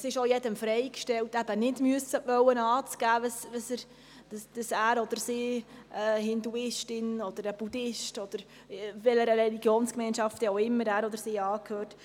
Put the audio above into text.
Es ist denn auch jedem freigestellt, nicht angeben zu müssen, dass er oder sie Hindu oder Buddhist ist oder welcher Religionsgemeinschaft auch immer angehört.